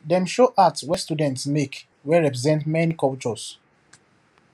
dem show art wey students make wey represent many cultures